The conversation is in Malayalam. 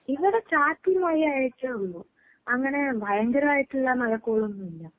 ഇവടെ ചാറ്റൽ മഴയായിട്ടേ ഒള്ളൂ. അങ്ങനെ ഭയങ്കരായിട്ടിള്ള മഴക്കോളൊന്നൂല്ല.